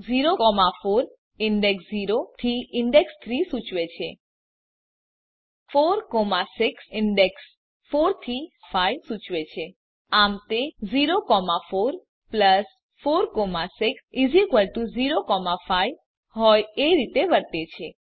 ૦ ૪ index ૦ થી index ૩ સૂચવે છે ૪ ૬ ઇંડેક્ષ ૪ થી ૬ સૂચવશે આમ તે ૦ ૪ ૪ ૬ ૦ ૫ હોય એ રીતે વર્તે છે